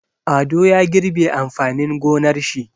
Ado ya girbe amfanin gonar shi.